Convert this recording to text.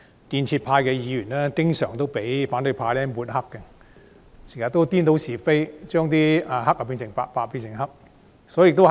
建制派議員經常被反對派抹黑，他們顛倒是非，黑變白、白變黑。